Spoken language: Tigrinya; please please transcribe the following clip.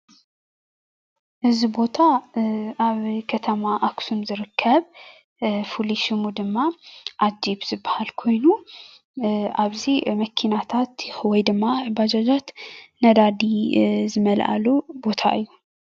እዚ ቦታ ኣብ ከተማ አክሱም ዝርከብ ፍሉይ ሽሙ ድማ ኣጅብ ዝባሃል ኮይኑ ኣብዚ መኪናታትን ወይድማ ባጃጃትን ነዳዲ ዝመላኣሉ እዩ።